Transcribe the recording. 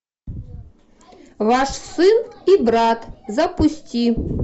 ваш сын и брат запусти